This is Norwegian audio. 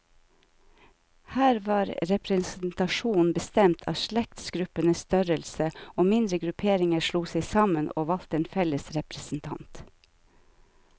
Her var representasjonen bestemt av slektsgruppenes størrelse, og mindre grupperinger slo seg sammen, og valgte en felles representant.